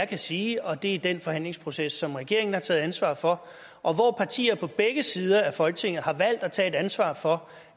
kan sige og det er den forhandlingsproces som regeringen har taget ansvar for og hvor partier på begge sider i folketinget har valgt at tage et ansvar for